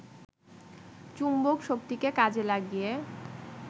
চুম্বকশক্তিকে কাজে লাগিয়ে